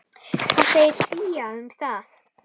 Hvað segir SÍA um það?